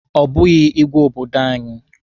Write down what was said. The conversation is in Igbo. Ọ bụghị ịgwe obodo anyị.